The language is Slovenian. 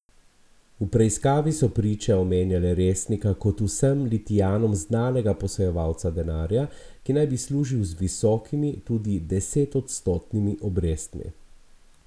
V preiskavi so priče omenjale Resnika kot vsem Litijanom znanega posojevalca denarja, ki naj bi služil z visokimi, tudi desetodstotnimi obrestmi.